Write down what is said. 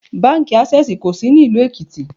Báńkì Ásẹ́sìì kò sí ní ìlú Èkìtì.